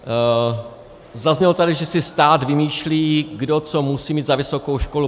Zaznělo tady, že si stát vymýšlí, kdo co musí mít za vysokou školu.